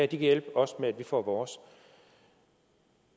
kan hjælpe os med at vi får vores